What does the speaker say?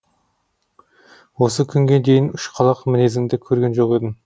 осы күнге дейін ұшқалақ мінезіңді көрген жоқ едім